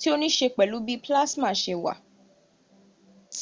ti o ní ṣe pẹ̀lú bí olasma ṣe wàn s